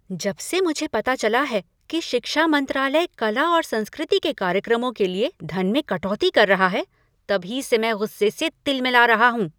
जब से मुझे पता चला है कि शिक्षा मंत्रालय कला और संस्कृति के कार्यक्रमों के लिए धन में कटौती कर रहा है तभी से मैं गुस्से से तिलमिला रहा हूँ।